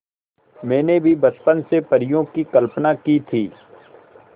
मैंने भी बचपन से परियों की कल्पना की थी